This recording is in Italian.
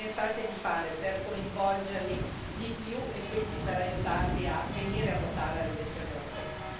Cosa pensate di fare per coinvolgerli di più e quindi per aiutarli a venire a votare alle elezioni europee?